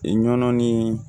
I nɔn ni